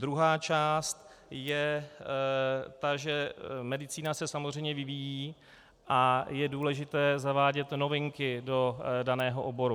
Druhá část je ta, že medicína se samozřejmě vyvíjí a je důležité zavádět novinky do daného oboru.